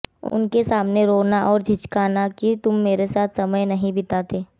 उनके सामने रोना और झिकझिकाना कि तुम मेरे साथ समय नहीं बिताते